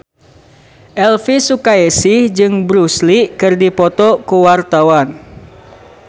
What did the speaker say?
Elvy Sukaesih jeung Bruce Lee keur dipoto ku wartawan